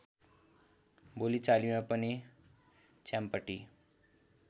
बोलिचालीमा पनि च्याम्पटी